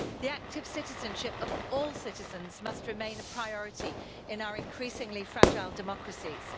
The active citizenship of all citizens must remain a priority in our increasingly fragile democracies.